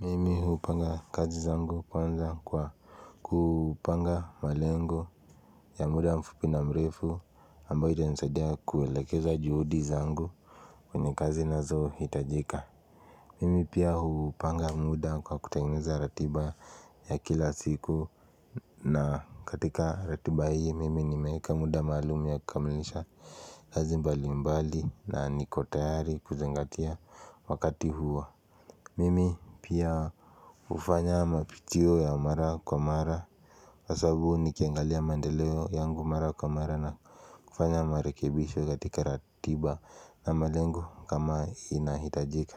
Mimi hupanga kazi zangu kwanza kwa kupanga malengo ya muda mfupi na mrefu ambayo itanisadia kuelekeza juhudi zangu kwenye kazi nazohitajika Mimi pia hupanga muda kwa kutengeneza ratiba ya kila siku na katika ratiba hii mimi nimeeka muda maalum ya kukamilisha kazi mbalimbali na niko tayari kuzingatia wakati huo Mimi pia ufanya mapitio ya mara kwa mara kwasabu nikiangalia maendeleo yangu mara kwa mara na kufanya marekebisho katika ratiba na malengo kama inahitajika